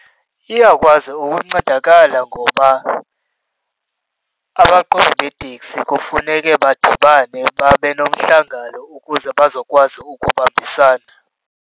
Iyakwazi ukuncedakala ngoba abaqhubi beeteksi kufuneke badibane babe nomhlangano ukuze bazokwazi ukubambisana.